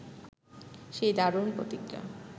সেই দারুণ প্রতিজ্ঞা